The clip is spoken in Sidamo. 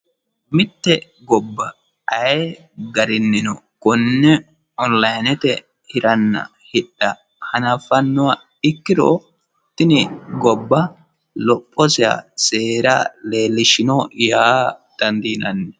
mitte gobba ayi garinnino konne onilaanete hiranna hidha hanaffannoha ikkiro tini gobba lophoseha seera leellishshino yaa danddiinanni